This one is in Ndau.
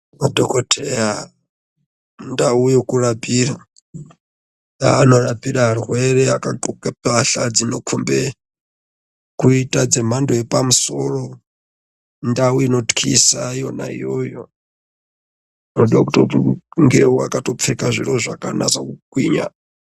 Madhokodheya mundau yekurapira yanorapire arwere akadhloke mbatya dzinokombe kuitedzemhando yepamusoro ndawu inotyisa yona iyoyo inodekuti ungewakapfeka zvaka nasa kugwinya